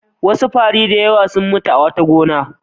Wasu fari da yawa sun mutu a wata gona.